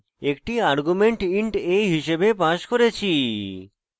একটি argument int a হিসাবে passed করেছি